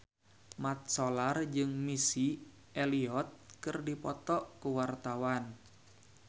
Mat Solar jeung Missy Elliott keur dipoto ku wartawan